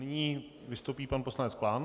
Nyní vystoupí pan poslanec Klán.